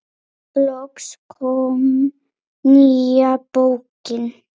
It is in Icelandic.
Loks kom nýja bókin.